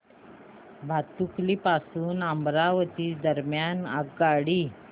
भातुकली पासून अमरावती दरम्यान आगगाडी